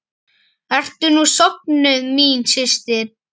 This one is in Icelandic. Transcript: Ertu nú sofnuð, mín systir!